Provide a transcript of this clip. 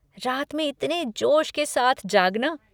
रात में इतने जोश के साथ जागना।